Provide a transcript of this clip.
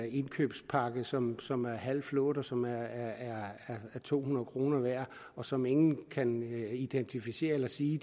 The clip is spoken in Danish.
indkøbspakke som som er halvt flået og som er to hundrede kroner værd og som ingen kan identificere eller sige